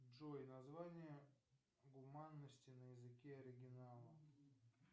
джой название гуманности на языке оригинала